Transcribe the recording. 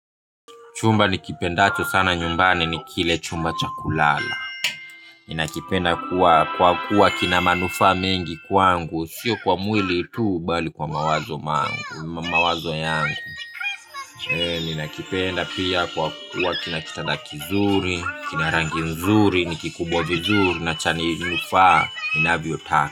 Chumba nikipendacho sana nyumbani ni kile chumba cha kulala. Ninakipenda kuwa kwa kuwa kina manufaa mengi kwangu sio kwa mwili tu bali kwa mawazo mangu mawazo yangu ninakipenda pia kwa kuwa kina kitanda kizuri. Kina rangi nzuri ni kikubwa vizuri na chani nufaa inavyo taa.